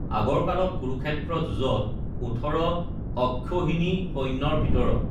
আগৰ কালত কুৰুক্ষেত্ৰ যুঁজত ওঠৰ অক্ষৌহিণী সৈন্যৰ ভিতৰত